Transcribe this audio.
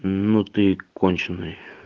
ну ты и конченый